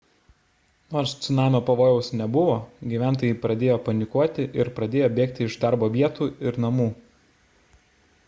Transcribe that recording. nors cunamio pavojaus nebuvo gyventojai pradėjo panikuoti ir pradėjo bėgti iš darbo vietų ir namų